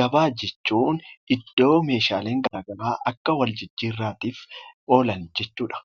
Gabaa jechuun iddoo meeshaaleen garaagaraa akka waljijjiirraatiif oolan jechuu dha.